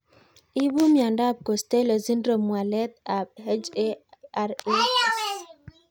Ipu miondop Costello syndrome walet ab HRAs